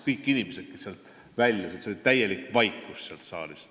Kõik inimesed väljusid saalist täielikus vaikuses.